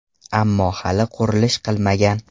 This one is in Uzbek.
Ammo hali qurilish qilmagan.